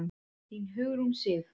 Þín, Hugrún Sif.